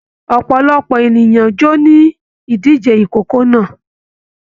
Ọpọlọpọ ènìyàn jọ ní dìde ìkókó náà